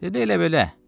Dedi: Elə-belə.